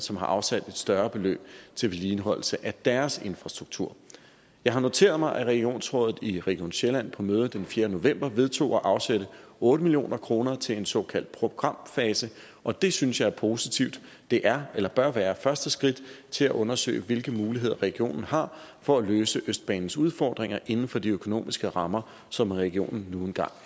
som har afsat et større beløb til vedligeholdelse af deres infrastruktur jeg har noteret mig at regionsrådet i region sjælland på mødet den fjerde november vedtog at afsætte otte million kroner til en såkaldt programfase og det synes jeg er positivt det er eller bør være første skridt til at undersøge hvilke muligheder regionen har for at løse østbanens udfordringer inden for de økonomiske rammer som regionen nu engang